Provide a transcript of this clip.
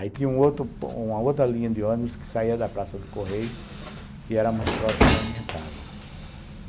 Aí tinha uma outra linha de ônibus que saía da Praça do Correio, que era mais próxima da minha casa.